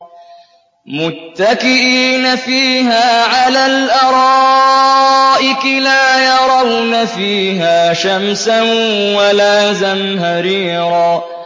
مُّتَّكِئِينَ فِيهَا عَلَى الْأَرَائِكِ ۖ لَا يَرَوْنَ فِيهَا شَمْسًا وَلَا زَمْهَرِيرًا